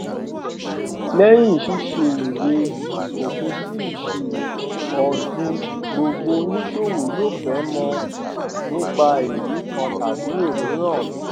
lẹyìn ṣíṣe ìwé ìfòpinsí ìṣirò ọdún gbogbo oníṣòwò yóò fẹ mọ nípa ẹrí kan tàbí òmíràn